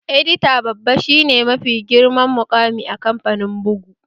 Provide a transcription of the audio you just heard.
Edita babba shi ne mafi girman muƙami a kamfanin bugu